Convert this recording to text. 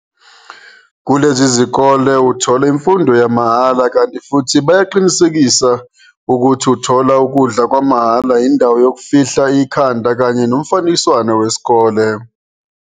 Kulezi zikole uthola imfundo yamahhala kanti futhi bayaqinisekisa ukuthi uthola ukudla kwamahhala indawo yokufihla ikhanda kanye nomfanekiswano wesikole.